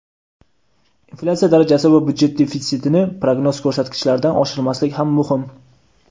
Inflyatsiya darajasi va byudjet defitsitini prognoz ko‘rsatkichlaridan oshirmaslik ham muhim.